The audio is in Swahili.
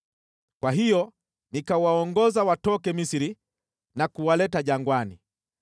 Kwa hiyo nikawaongoza watoke Misri na kuwaleta jangwani.